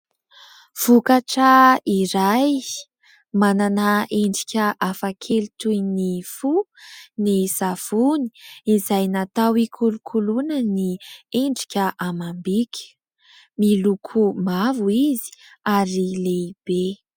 Vokatra iray manana endrika hafakely toy ny fo ny savony izay natao ikolokoloana ny endrika amam-bika. Miloko mavo izy ary lehibe.